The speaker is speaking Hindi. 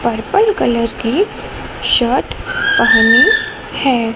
पर्पल कलर की शर्ट पहनी है।